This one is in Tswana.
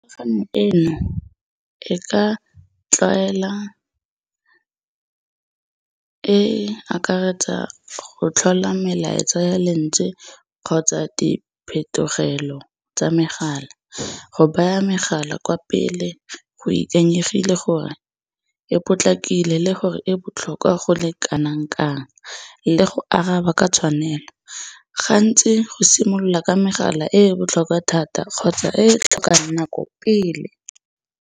eno e ka tlwaela e akaretsa go tlhola melaetsa ya lentswe kgotsa di phetogelo tsa megala. Go baya megala kwa pele go ikanyegile gore e potlakile le gore e botlhokwa go le kanang-kang le go araba ke tshwanelo. Gantsi go simolola ka megala e e botlhokwa thata kgotsa e e tlhokang nako pele.